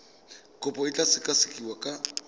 kopo e tla sekasekiwa ka